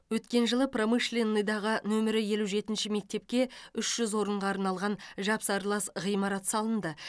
өткен жылы промышленныйдағы нөмірі елу жетінші мектепке үш жүз орынға арналған жапсарлас ғимарат салынды